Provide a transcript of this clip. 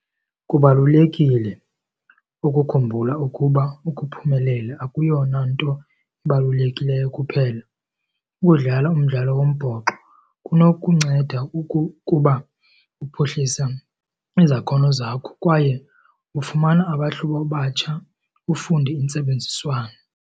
Kubalulekile ukukhumbula ukuba ukuphumelela akuyona nto ibalulekileyo kuphela. Ukudlala umdlalo wombhoxo kunokunceda kuba uphuhlisa izakhono zakho kwaye ufumana abahlobo abatsha, ufunde intsebenziswano.